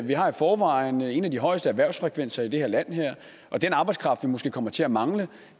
vi har i forvejen en af de højeste erhvervsfrekvenser i det her land og den arbejdskraft vi måske kommer til at mangle